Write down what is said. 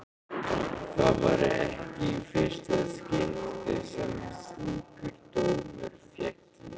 Það væri ekki í fyrsta skipti sem slíkur dómur félli.